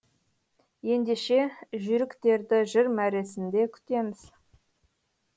ендеше жүйріктерді жыр мәресінде күтеміз